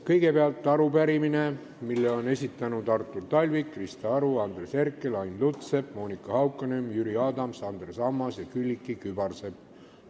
Kõigepealt arupärimine, mille on esitanud Artur Talvik, Krista Aru, Andres Herkel, Ain Lutsepp, Monika Haukanõmm, Jüri Adams, Andres Ammas ja Külliki Kübarsepp.